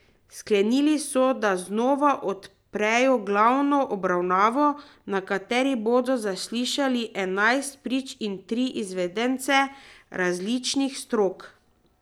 Sklenili so, da znova odprejo glavno obravnavo, na kateri bodo zaslišali enajst prič in tri izvedence različnih strok.